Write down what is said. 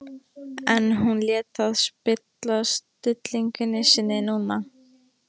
En hún lét það ekki spilla stillingu sinni núna.